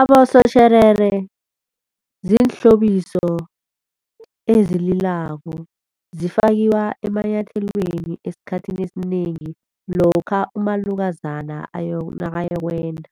Abosotjherere, ziinhlobiso ezililako zifakiwa emanyathelweni esikhathini esinengi lokha umalukazana nakayokwenda.